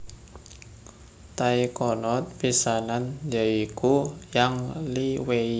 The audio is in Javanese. Taikonot pisanan ya iku Yang Liwei